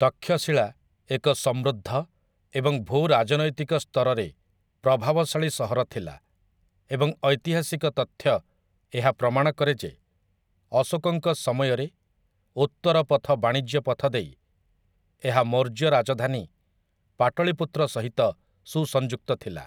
ତକ୍ଷଶିଳା ଏକ ସମୃଦ୍ଧ ଏବଂ ଭୂ ରାଜନୈତିକ ସ୍ତରରେ ପ୍ରଭାବଶାଳୀ ସହର ଥିଲା ଏବଂ ଐତିହାସିକ ତଥ୍ୟ ଏହା ପ୍ରମାଣ କରେ ଯେ, ଅଶୋକଙ୍କ ସମୟରେ ଉତ୍ତରପଥ ବାଣିଜ୍ୟ ପଥ ଦେଇ ଏହା ମୌର୍ଯ୍ୟ ରାଜଧାନୀ ପାଟଳୀପୁତ୍ର ସହିତ ସୁସଂଯୁକ୍ତ ଥିଲା ।